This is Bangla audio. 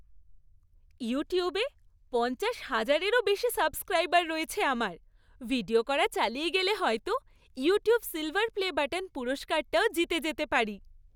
ইউটিউবে পঞ্চাশ হাজারেরও বেশি সাবস্ক্রাইবার রয়েছে আমার। ভিডিও করা চালিয়ে গেলে হয়তো "ইউটিউব সিল্‌ভার প্লে বাটন" পুরস্কারটাও জিতে যেতে পারি।